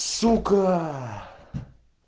сука